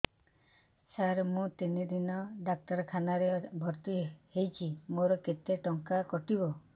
ସାର ମୁ ତିନି ଦିନ ଡାକ୍ତରଖାନା ରେ ଭର୍ତି ହେଇଛି ମୋର କେତେ ଟଙ୍କା କଟିବ